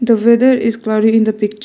The weather is cloudy in the picture.